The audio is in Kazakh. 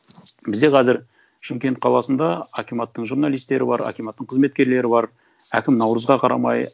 бізде қазір шымкент қаласында акиматтың журналистері бар акиматтың қызметкерлері бар әкім наурызға қарамай